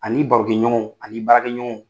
Ani i barokɛɲɔgɔnw ani i baarakɛɲɔgɔnw